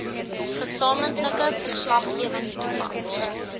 gesamentlike verslaggewing toepas